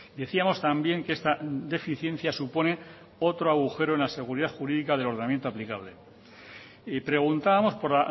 decíamos también que esta deficiencia supone otro agujero en la seguridad jurídica del ordenamiento aplicable y preguntábamos por